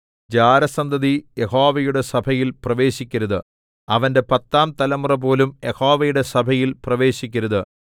ജാരസന്തതി യഹോവയുടെ സഭയിൽ പ്രവേശിക്കരുത് അവന്റെ പത്താം തലമുറപോലും യഹോവയുടെ സഭയിൽ പ്രവേശിക്കരുത്